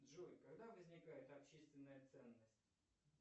джой когда возникает общественная ценность